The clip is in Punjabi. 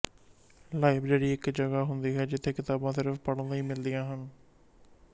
ਲਾਇਬ੍ਰੇਰੀ ਇੱਕ ਜਗ੍ਹਾ ਹੁੰਦੀ ਹੈ ਜਿਥੋਂ ਕਿਤਾਬਾਂ ਸਿਰਫ਼ ਪੜ੍ਹਨ ਲਈ ਮਿਲਦੀਆਂ ਹਨ